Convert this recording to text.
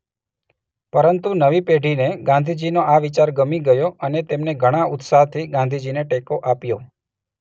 પરંતુ નવી પેઢીને ગાંધીજીનો આ વિચાર ગમી ગયો અને તેમણે ઘણા ઉત્સાહથી ગાંધીજીને ટેકો આપ્યો.